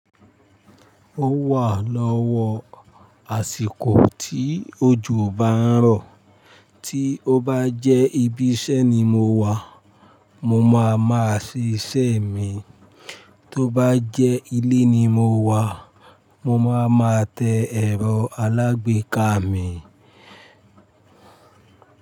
Ó wà lọ́wọ́ àsìkò tí ojò bá ń rọ̀, tí ó bá jẹ́ ibi iṣẹ́ ni mo wà, mo máa ma ṣe iṣẹ́ mi, tó bá jẹ́ ilé ni mo wà, mo máa ma tẹ ẹ̀rọ alágbèéká mi.